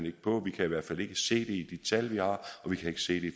ikke på vi kan i hvert fald ikke se det i de tal vi har og vi kan ikke se det